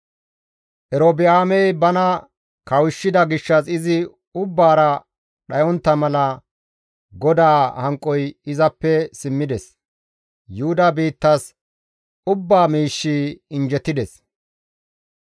Erobi7aamey bana kawushshida gishshas izi ubbaara dhayontta mala GODAA hanqoy izappe simmides. Yuhuda biittas ubba miishshi injjetides.